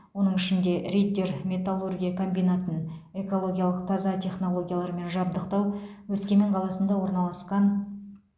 оның ішінде риддер металлургия комбинатын экологиялық таза технологиялармен жабдықтау өскемен қаласында орналасқан